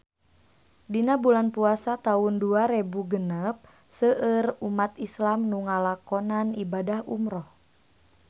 Dina bulan Puasa taun dua rebu genep seueur umat islam nu ngalakonan ibadah umrah